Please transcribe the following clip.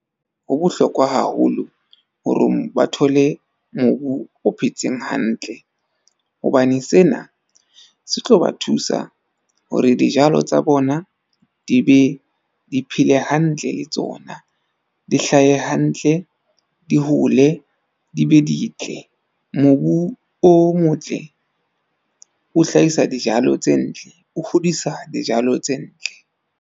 Ho bohlokwa haholo horong ba thole mobu o phetseng hantle. Hobane sena se tlo ba thusa hore dijalo tsa bona di be di phele hantle le tsona. Di hlahe hantle, di hole di be di ntle. Mobu o motle o hlahisa dijalo tse ntle, o hodisa dijalo tse ntle.